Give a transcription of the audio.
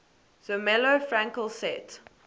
zermelo fraenkel set